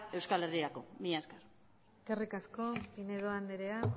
euskal herrirako mila esker eskerrik asko pinedo andrea